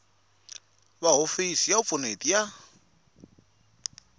va hofisi ya vupfuneti ya